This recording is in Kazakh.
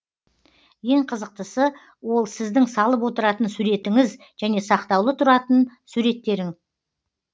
ең қызықтысы ол сіздің салып отыратын суретіңіз және сақтаулы тұратын суреттерің